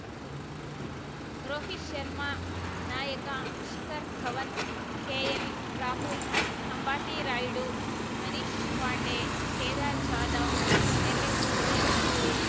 ರೋಹಿತ್‌ ಶರ್ಮಾ ನಾಯಕ ಶಿಖರ್ ಧವನ್‌ ಕೆಎಲ್‌ರಾಹುಲ್‌ ಅಂಬಟಿ ರಾಯುಡು ಮನೀಶ್‌ ಪಾಂಡೆ ಕೇದಾರ್ ಜಾಧವ್‌ ಎಂಎಸ್‌ಧೋನಿ